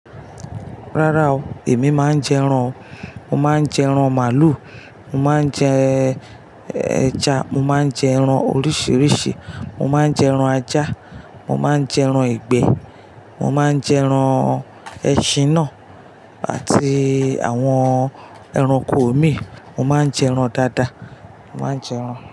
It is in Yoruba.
Rárá o, èmi máa ń jẹ ẹran o. Mo máa ń jẹ ẹran màálù, mo máa ń jẹ ẹja, mo máa ń jẹ ẹran oríṣìíríṣìí, mo máa ń jẹ ẹran ajá, mo máa ń jẹ ẹran ìgbẹ́, mo máa ń jẹ ẹran ẹṣin náà àti àwọn ẹranko omi. Mo máa ń jẹ ẹran dáadáa. Mo máa ń jẹ ẹran.